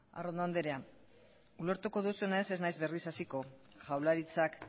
arrondo andrea ulertuko duzunez ez nahiz berriz hasiko jaurlaritzak